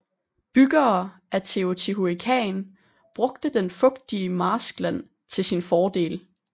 Byggere af Teotihuacan brugte den fugtige marskland til sin fordel